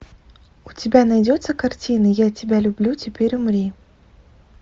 у тебя найдется картина я тебя люблю теперь умри